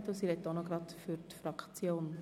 Sie spricht zugleich für die Fraktion.